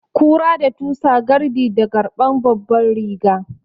Kura da tusa gardi da garɓan babban riga